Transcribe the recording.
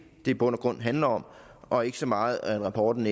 i bund og grund handler om og ikke så meget om rapporten